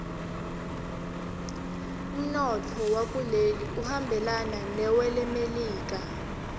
umnotfo wakuleli uhambelana newelemelika